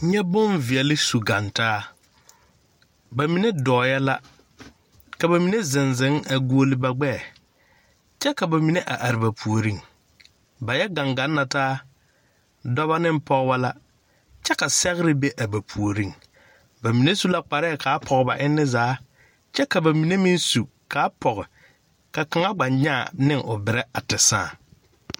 Nyɛ boŋ veɛli su gaŋ taa ba mine dɔɔɛ la ka ba mine ziŋziŋ a guoli ba gbɛɛ kyɛ ka ba mine a are ba puoriŋ ba yɛ gaŋ gaŋ la taa dɔna ne pɔgeba la kyɛ ka sɛgre ba a ba puoriŋ ba mine su la kparɛɛ kaa pɔge ba enni zaa kyɛ ka ba mine gba su kaa pɔge ka o nyaa ne o berɛ a te sãã.